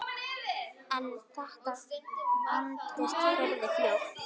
En þetta vandist furðu fljótt.